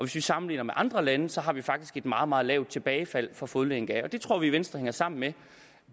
vi sammenligner med andre lande har vi faktisk et meget meget lavt tilbagefald for fodlænke det tror vi i venstre hænger sammen med